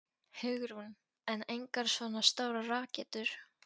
Hugrún: En engar svona stórar rakettur?